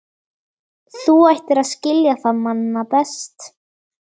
Þú ættir að skilja það manna best.